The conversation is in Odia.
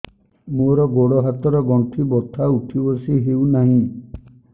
ମୋର ଗୋଡ଼ ହାତ ର ଗଣ୍ଠି ବଥା ଉଠି ବସି ହେଉନାହିଁ